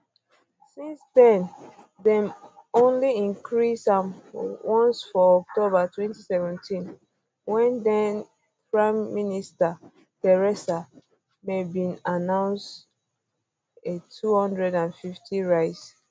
since then dem only increase am once for october 2017 wen thenprime minister theresa may bin announced a 250 rise